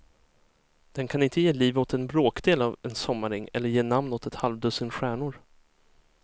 Den kan inte ge liv åt en bråkdel av en sommaräng eller ge namn åt ett halvdussin stjärnor.